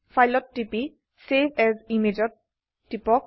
file ত টিপি save as image ত টিপক